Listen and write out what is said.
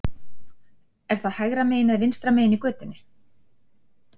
Er það hægra megin eða vinstra megin í götunni?